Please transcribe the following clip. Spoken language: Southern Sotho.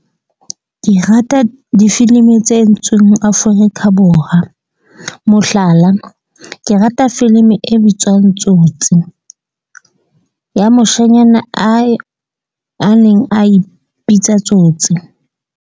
Ke rata difilimi tse entsweng Afrika Borwa, mohlala, ke rata filimi e bitswang Tsotsi ya moshanyana a e a neng a ipitsa Tsotsi.